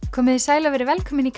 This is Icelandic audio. komiði sæl og verið velkomin í